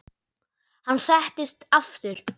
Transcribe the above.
Hann settist aftur.